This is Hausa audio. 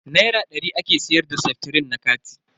Naira dari ake siyar da seftrin na kati.